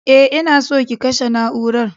E, ina so ki kashe na'urar.